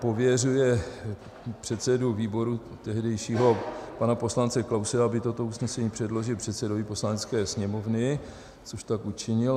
Pověřuje předsedu výboru, tehdejšího pana poslance Klause, aby toto usnesení předložil předsedovi Poslanecké sněmovny, což tak učinil.